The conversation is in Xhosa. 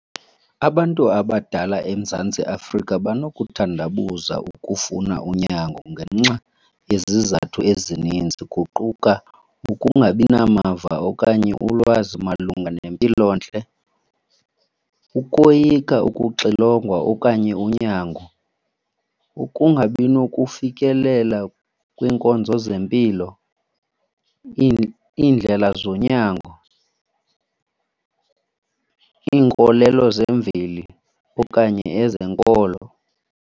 Abantu abadala eMzantsi Afrika banokuthandabuza ukufuna unyango ngenxa yezizathu ezininzi, kuquka ukungabi namava okanye ulwazi malunga nempilontle, ukoyika ukuxilongwa okanye unyango, ukungabi nokufikelela kwiinkonzo zempilo, iindlela zonyango, iinkolelo zemveli okanye ezenkolo.